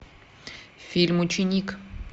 фильм ученик